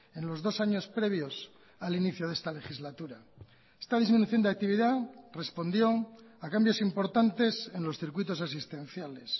en los dos años previos al inicio de esta legislatura esta disminución de actividad respondió a cambios importantes en los circuitos asistenciales